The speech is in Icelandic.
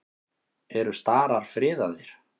Eru starar friðaðir?